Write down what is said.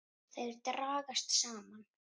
Þær dragast saman.